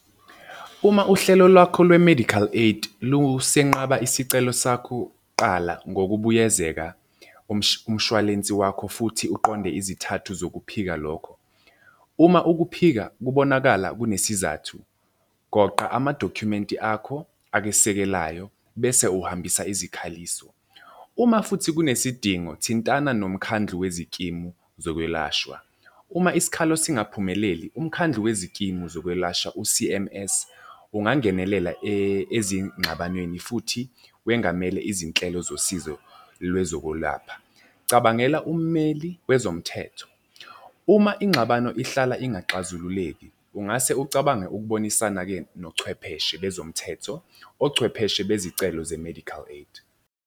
Uma uhlelo lwakho lwe-medical aid lusenqaba isicelo sakho, qala ngokubuyezeka umshwalensi wakho futhi uqonde izithathu zokuphika lokho. Uma ukuphika kubonakala kunesizathu, goqa amadokhumenti akho akesekelayo bese uhambisa izikhaliso. Uma futhi kunesidingo thintana nomkhandlu wezikimu zokwelashwa. Uma isikhalo singaphumeleli, umkhandlu wezikimu zokwelashwa u-C_M_S ungangenelela ezingxabanweni futhi wengamele izinhlelo zosizo lwezokwelapha. Cabangela ummeli wezomthetho, uma ingxabano ihlala ingaxazululeki ungase ucabange ukubonisana-ke nochwepheshe bezomthetho, ochwepheshe bezicelo ze-medical aid.